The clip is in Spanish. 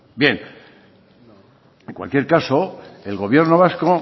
bien en cualquier caso el gobierno vasco